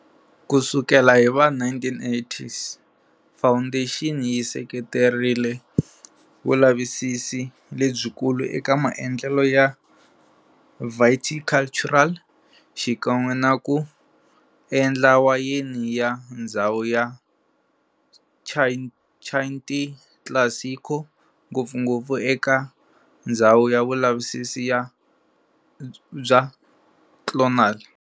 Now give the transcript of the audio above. Kusukela hiva 1980s, foundation yi seketerile vulavisisi lebyikulu eka maendlelo ya viticultural xikan'we naku endla wayeni ya ndzhawu ya Chianti Classico, ngopfungopfu eka ndzhawu ya vulavisisi bya clonal.